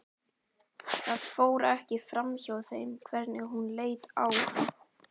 Það fór ekki framhjá þeim hvernig hún leit á hann.